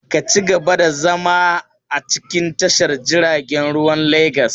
Ka ci gaba da zama a cikin tashar jiaragen ruwan Legas!